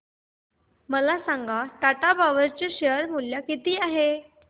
मला सांगा टाटा पॉवर चे शेअर मूल्य किती आहे